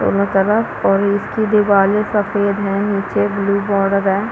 दोनों तरफ और इसकी दीवारे सफ़ेद है निचे ब्लू बॉर्डर है।